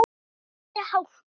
Í þessari hálku?